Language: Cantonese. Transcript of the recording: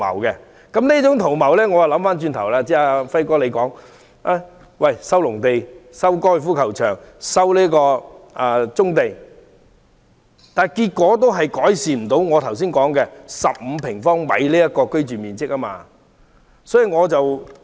即使政府收回剛才"輝哥"提及的農地、高爾夫球場、棕地，也無法改善我剛才說的15平方米的人均居住面積。